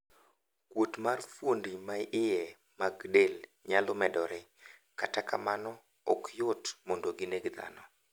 Kuot mar fuondi maiye mag del nyalo medore, kata kamano ok yot mondo gineg dhano.